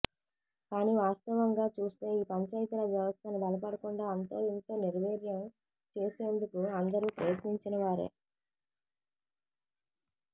కానీ వాస్తవంగా చూస్తే ఈ పంచాయితీరాజ్ వ్యవస్థను బలపడకుండా అంతోఇంతో నిర్వీర్యం చేసేందుకు అందరూ ప్రయత్నించినవారే